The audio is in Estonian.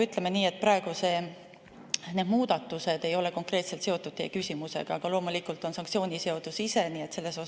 Ütleme nii, et praegused muudatused ei ole konkreetselt seotud teie küsimusega, aga sanktsiooniseadus ise loomulikult on.